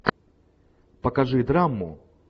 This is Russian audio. покажи драму